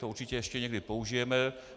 To určitě ještě někdy použijeme.